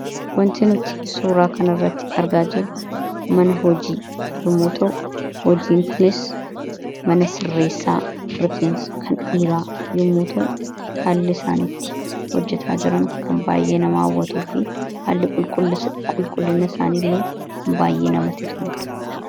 Waanti nuti suuraa kana irratti argaa jirru, mana hojii, namoota hojiiti. Hojiin Kunis mana sirreessaa rifeensa kan dhiiraa yemmuu ta'u, haalli isaan itti hojjetaa jiran kan baayyee nama hawwatuu fi haalli qulqulliina isaanii illee kan baayyee namatti tolusha.